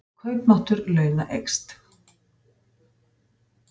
Kaupmáttur launa eykst